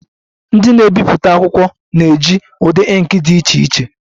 Ndị na-ebipụta akwụkwọ na-eji ụdị ink dị iche iche